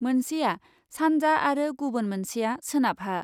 मोनसेया सान्जा आरो गुबुन मोनसेया सोनाबहा ।